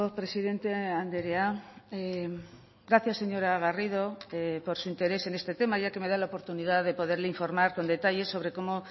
presidente andrea gracias señora garrido por su interés en este tema ya que me da la oportunidad de poderle informar con detalles sobre cómo